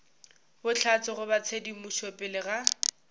bohlatse goba tshedimošo pele ga